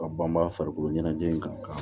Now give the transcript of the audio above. Ka banbaa farikolo ɲɛnajɛ in kan